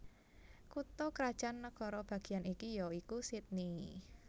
Kutha krajan nagara bagian iki ya iku Sydney